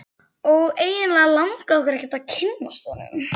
Og eiginlega langaði okkur ekki að kynnast honum.